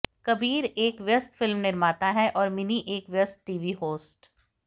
कबीर एक व्यस्त फिल्म निर्माता हैं और मिनी एक व्यस्त टीवी होस्ट